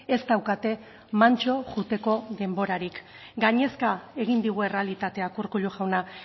ez daukate mantso joateko denborarik gainezka egin digu errealitateak urkullu jauna